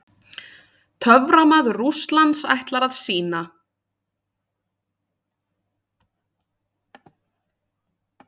TÖFRAMAÐUR RÚSSLANDS ætlar að sýna.